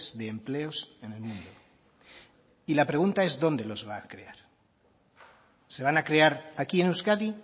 de empleos en el mundo y la pregunta es dónde los va a crear se van a crear aquí en euskadi